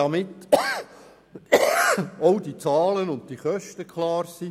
Damit auch die Zahlen und die Kosten klar sind: